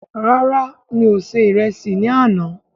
Rárá, mí o ṣe ìrẹsì ní àna